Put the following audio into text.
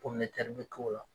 Kɔminetɛri bɛ k'o la